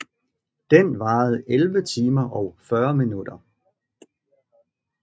Den varede 11 timer og 40 minutter